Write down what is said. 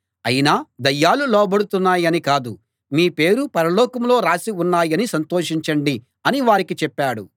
అయినా దయ్యాలు లోబడుతున్నాయని కాదు మీ పేర్లు పరలోకంలో రాసి ఉన్నాయని సంతోషించండి అని వారికి చెప్పాడు